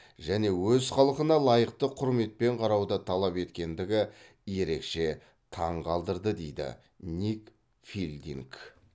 және өз халқына лайықты құрметпен қарауды талап еткендігі ерекше таң қалдырды дейді ник филдинг